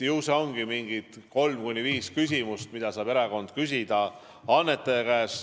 Ongi kolm kuni viis küsimust, mida saab erakond küsida annetaja käest.